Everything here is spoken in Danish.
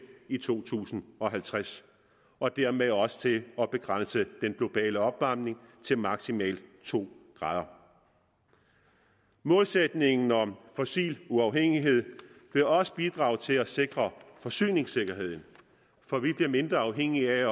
i to tusind og halvtreds og dermed også til at begrænse den globale opvarmning til maksimalt to grader målsætningen om fossil uafhængighed vil også bidrage til at sikre forsyningssikkerheden for vi bliver mindre afhængige af